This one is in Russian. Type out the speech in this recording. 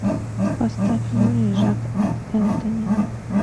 поставь люли жак энтони